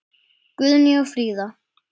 Guðný og Fríða.